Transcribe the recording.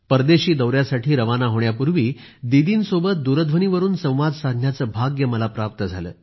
परदेशी दौऱ्यासाठी रवाना होण्यापूर्वी दिदींसोबत दूरध्वनीवरून संवाद साधण्याचे भाग्य मला प्राप्त झाले